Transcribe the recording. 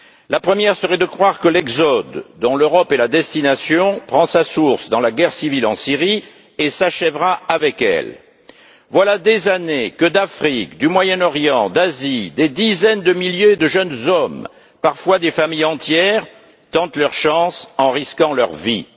La première serait de croire que l'exode, dont l'Europe est la destination, prend sa source dans la guerre civile en Syrie et s'achèvera avec elle. Voilà des années que d'Afrique, du Moyen Orient, d'Asie, des dizaines de milliers de jeunes hommes, parfois des familles entières tentent leur chance en risquant leur vie.